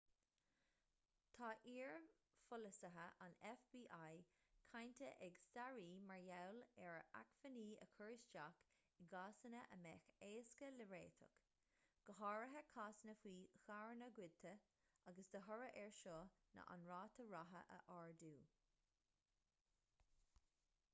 tá iar-pholasaithe an fbi cáinte ag staraí mar gheall ar acmhainní a chur isteach i gcásanna a mbeadh éasca le réiteach go háirithe cásanna faoi charranna goidte agus de thoradh air seo ná an ráta ratha a ardú